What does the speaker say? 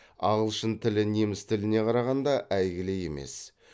ағылшын тілі неміс тіліне қарағанда әйгілі емес